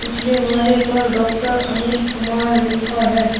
पिछले वाले पर डॉक्टर अमित कुमार लिखा है।